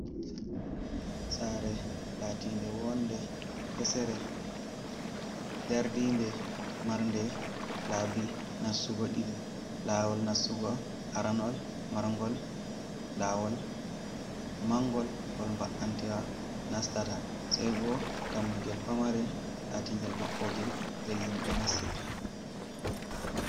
Saare laatinde woonde hesere dardinde, marnde laabi nastugo ɗiɗi. Laawol nastugo aranol marngol laawol mangol ngol mba’antwa nastata, sey bo dammugel pamarel latingel maɓɓongel ngel himɓe nastirta.